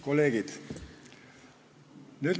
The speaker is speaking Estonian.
Kolleegid!